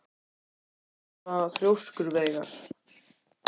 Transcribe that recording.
Af hverju ertu svona þrjóskur, Veigar?